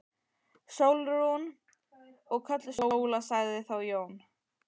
Sólrún. og kölluð Sóla, sagði þá Jón.